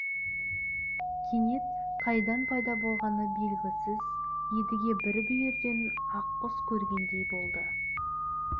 кенет қайдан пайда болғаны белгісіз едіге бір бүйірден ақ құс көргендей болды